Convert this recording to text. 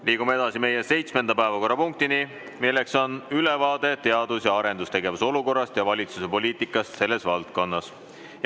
Liigume edasi meie seitsmenda päevakorrapunkti juurde, mis on ülevaade teadus- ja arendustegevuse olukorrast ja valitsuse poliitikast selles valdkonnas.